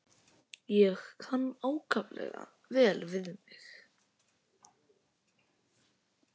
Kann ákaflega vel við mig.